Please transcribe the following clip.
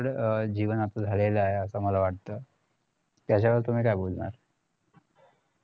जीवन आपलं झालेलं आहे असं मला वाटत त्याच्यावर तुम्ही काय बोलणार